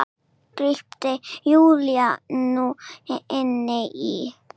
grípur Júlía nú inn í.